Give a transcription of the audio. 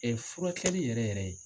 furakɛli yɛrɛ yɛrɛ ye.